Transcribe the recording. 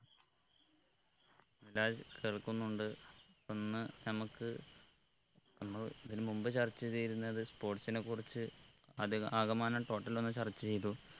മിദ്‌ലാജ് കേൾക്കുന്നുണ്ട് ഒന്ന് നമ്മുക്ക് നമ്മൾ ഇതിന് മുമ്പ് ചർച്ച ചെയ്തിരുന്നത് sports നെ കുറിച്ച് അതെ ആകമാനം total ഒന്ന് ചർച്ച ചെയ്തു